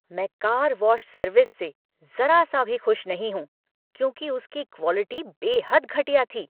मैं car wash service से ज़रा सा भी खुश नहीं हूँ, क्योंकि उसकी क्वालिटी बेहद घटिया थी।